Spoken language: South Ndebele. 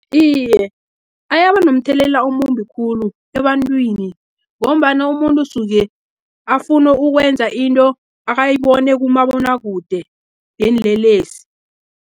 Iye, ayabanomthelela omumbi khulu ebantwini, ngombana umuntu usuke afunu ukwenza into, akayibona kumabonakude yeenlelesi.